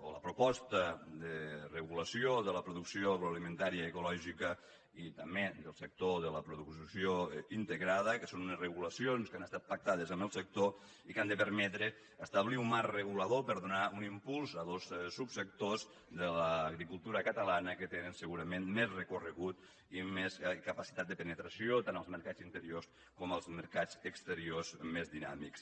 o la proposta de regulació de la producció agroalimentària ecològica i també del sector de la producció integrada que són unes regulacions que han estat pactades amb el sector i que han de permetre establir un marc regulador per donar un impuls a dos subsectors de l’agricultura catalana que tenen segurament més recorregut i més capacitat de penetració tant en els mercats interiors com en els mercats exteriors més dinàmics